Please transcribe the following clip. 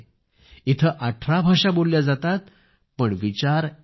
इथे 18 भाषा बोलल्या जातात पण विचार एक आहे